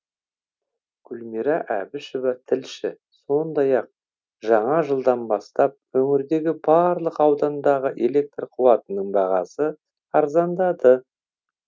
гүлмира әбішева тілші сондай ақ жаңа жылдан бастап өңірдегі барлық аудандағы электр қуатының бағасы арзандады